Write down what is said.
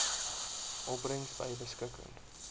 opbrengs by beskikking